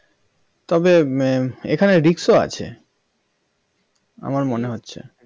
তবে এখানে risk ও আছে আমার মনে হচ্ছে